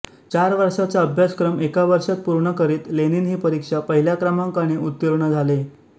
चार वर्षांचा अभ्यासक्रम एका वर्षात पूर्ण करीत लेनिन ही परीक्षा पहिल्या क्रमांकाने उत्तीर्ण झाले